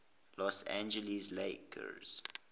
los angeles lakers